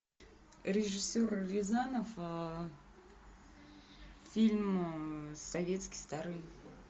режиссер рязанов фильм советский старый